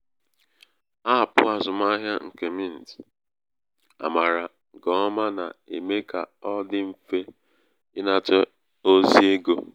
apụ azụmahịa nke mint amaara nke ọma na-eme ka ọ dị mfe ịnata ozi ego.